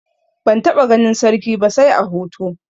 Ban taɓa ganin sarki ba sai a hoto.